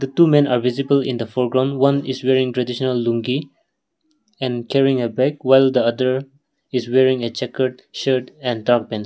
two men are visible in the foreground one is wearing traditional lungi and carrying a bag while the other is wearing a checkered shirt and dark pants.